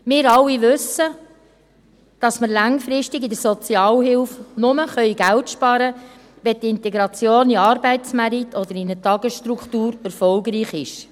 Wir alle wissen, dass wir langfristig in der Sozialhilfe nur Geld sparen können, wenn die Integration in den Arbeitsmarkt oder in eine Tagesstruktur erfolgreich ist.